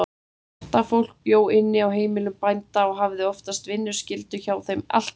Þetta fólk bjó inni á heimilum bænda og hafði oftast vinnuskyldu hjá þeim allt árið.